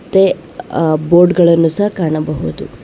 ತ್ತೆ ಬೋರ್ಡ್ ಗಳನ್ನು ಸಹ ಕಾಣಬಹುದು.